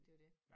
Det jo det